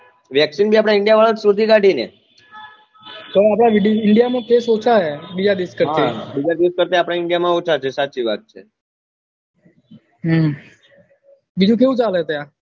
vaccine ભી આપડા india વાળા એજ શોધી કાઢી ને આપડા india માં case ઓછા હૈ બીજા દેશ કરતા હા બીજા દેશ કરતા આપડા india માં ઓછા છે સાચી વાત છે હમ બીજું કેવું ચાલે ત્યાં